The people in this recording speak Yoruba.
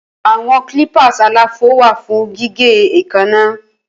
Awọn clippers àlàfo wa fun gige eekanna.